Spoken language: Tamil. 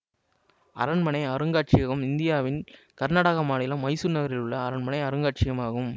அரண்மனை அருங்காட்சியகம் இந்தியாவின் கர்நாடக மாநிலம் மைசூர் நகரில் உள்ள அரண்மனை அருங்காட்சியகம் ஆகும்